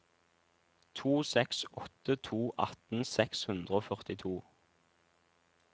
to seks åtte to atten seks hundre og førtito